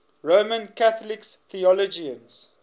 roman catholic theologians